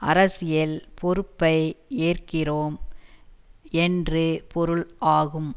அரசியல் பொறுப்பை ஏற்கிறோம் என்று பொருள் ஆகும்